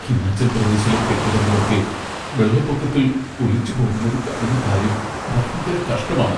ഹിമാചൽ പ്രദേശിലെ കെട്ടിടങ്ങളൊക്കെ വെള്ളപ്പൊക്കത്തിൽ ഒലിച്ചുപോകുന്നത് കാണുന്ന കാര്യം ഭയങ്കര കഷ്ടമാണ്.